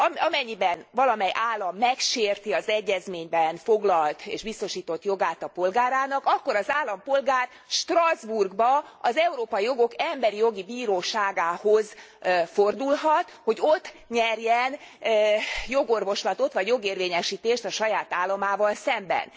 Amennyiben valamely állam megsérti az egyezményben foglalt és biztosított jogát a polgárának, akkor az állampolgár Strasbourgban, az Európai Jogok Emberi Jogi Bíróságához fordulhat, hogy ott nyerjen jogorvoslatot, vagy jogérvényesítést a saját államával szemben.